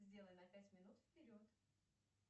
сделай на пять минут вперед